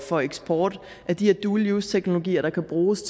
for eksport af de her dual use teknologier der kan bruges